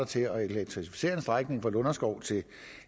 til at elektrificere en strækning fra lunderskov til